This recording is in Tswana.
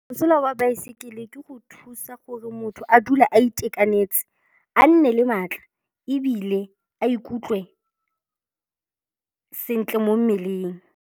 Mosola wa baesekele ke go thusa gore motho a dule a itekanetse, a nne le maatla ebile a ikutlwe sentle mo mmeleng.